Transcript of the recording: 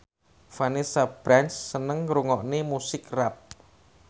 Vanessa Branch seneng ngrungokne musik rap